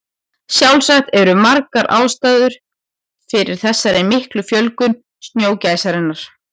Sjálfsagt eru margar ástæður fyrir þessari miklu fjölgun snjógæsarinnar.